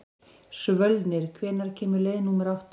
Svölnir, hvenær kemur leið númer átta?